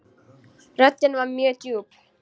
Röddin var mjög djúp.